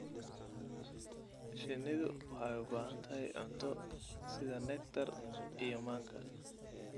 Shinnidu waxay u baahan tahay cunto sida nectar iyo manka.